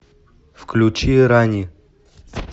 включи рани